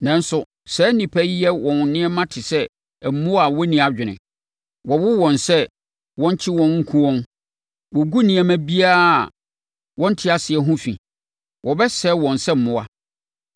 Nanso, saa nnipa yi yɛ wɔn nneɛma te sɛ mmoa a wonni adwene, wɔwo wɔn sɛ wɔnkye wɔn nku wɔn. Wɔgu nneɛma biara a wɔnte aseɛ no ho fi. Wɔbɛsɛe wɔn sɛ mmoa.